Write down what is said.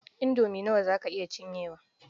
Indomie nawa za ka iya cinyewa?